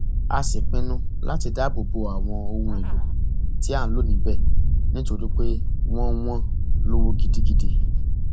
a sì pinnu láti dáàbò bo àwọn ohun èèlò tí à ń lò níbẹ nítorí pé wọn wọn lówó gidigidi